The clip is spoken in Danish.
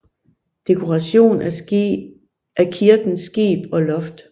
Dekoration af kirkens skib og loft